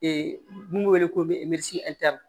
mun be wele ko